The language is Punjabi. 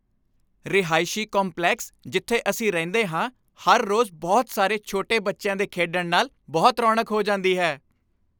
ਰਹਾਇਸ਼ੀ ਕੰਪਲੈਕਸ ਜਿੱਥੇ ਅਸੀਂ ਰਹਿੰਦੇ ਹਾਂ, ਹਰ ਰੋਜ਼ ਬਹੁਤ ਸਾਰੇ ਛੋਟੇ ਬੱਚਿਆਂ ਦੇ ਖੇਡਣ ਨਾਲ ਬਹੁਤ ਰੌਣਕ ਹੋ ਜਾਂਦੀ ਹੈ।